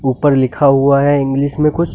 ऊपर लिखा हुआ है इंग्लिश में कुछ --